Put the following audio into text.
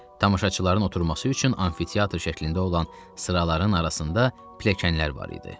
Tamaşaçıların oturması üçün amfiteatr şəklində olan sıraların arasında pilləkənlər var idi.